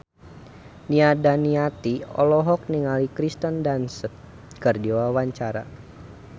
Nia Daniati olohok ningali Kirsten Dunst keur diwawancara